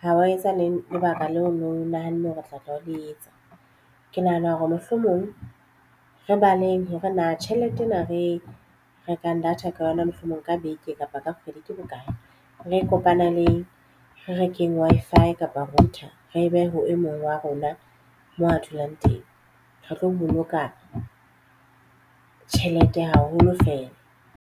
ha wa etsa le lebaka leo no nahanne hore o tla tla o le etsa. Ke nahana hore mohlomong re baleng hore na tjhelete ena re rekang data ka yona mohlomong ka beke kapa ka kgwedi ke bokae re kopaneleng re rekeng Wi-Fi kapa router re behe ho e mong wa rona mo a dulang teng re tlo boloka tjhelete haholo fela.